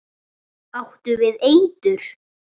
Áttu við eitur.